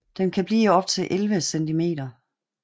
Den kan blive op til 11 cm